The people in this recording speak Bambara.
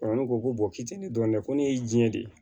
ne ko ko k'i tɛ ne dɔn dɛ ko ne ye diɲɛ de ye